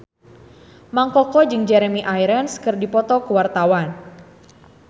Mang Koko jeung Jeremy Irons keur dipoto ku wartawan